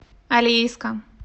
алейска